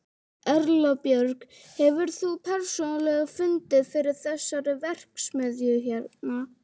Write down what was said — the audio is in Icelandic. Erla Björg: Hefur þú persónulega fundið fyrir þessari verksmiðju hérna?